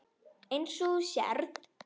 Eins og þú sérð.